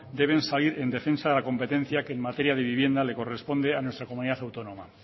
deben salir en defensa de la competencia que en materia de vivienda le corresponde a nuestra comunidad autónoma